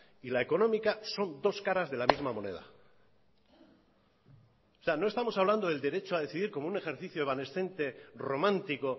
y la económica son dos caras de la misma moneda no estamos hablando del derecho a decidir como un ejercicio evanescente romántico